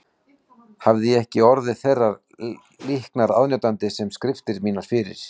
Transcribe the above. Hefði ég ekki orðið þeirrar líknar aðnjótandi sem skriftir mínar fyrir